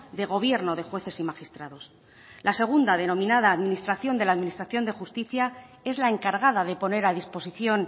de gobierno de jueces y magistrados la segunda denominada administración de la administración de justicia es la encargada de poner a disposición